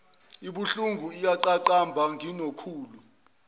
ibuhlungu iyaqaqamba nginokhulu